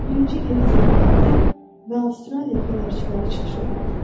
Birinci Yeni Zelandiya və Avstraliya fənərçiləri çıxış edirdilər.